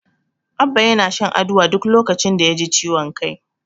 Abba yana shan Aduwa duk lokacin da yaji ciwon kai.